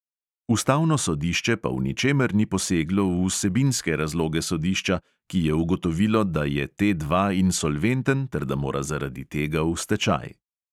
Ustavno sodišče pa v ničemer ni poseglo v vsebinske razloge sodišča, ki je ugotovilo, da je T dva insolventen ter da mora zaradi tega v stečaj.